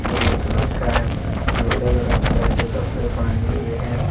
बहुत लड़का है जो अलग अलग कलर के कपड़े पहने हुए हैं।